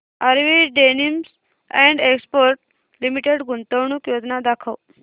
RV denims and exports limited गुंतवणूक योजना दाखव